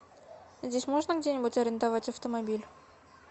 здесь можно где нибудь арендовать автомобиль